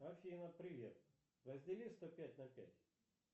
афина привет раздели сто пять на пять